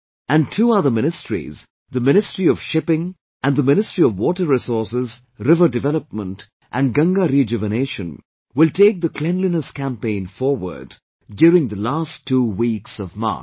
And two other ministries, the Ministry of Shipping and the Ministry of Water Resources, River Development and Ganga Rejuvenation will take the Cleanliness Campaign forward during the last two weeks of March